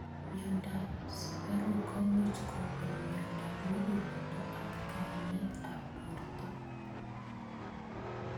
Mnyendo ab sukaruk komuch kokon mnyendo ab mukuleldo ak kaimet ab borto.